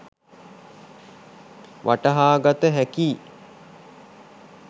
වටහාගත හැකියි.